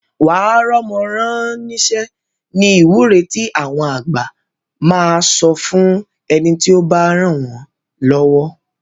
Wà á rọ́mọ rán níṣẹ́ ni ìwúre tí àwọn àgbà máa sọ fún ẹni tí ó bá ràn wọ́n lọ́wọ́